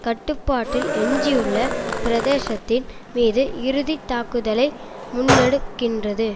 கட்டுப்பாட்டில் எஞ்சியுள்ள பிரதேசத்தின் மீது இறுதி தாக்குதலை முன்னெடுக்கின்றது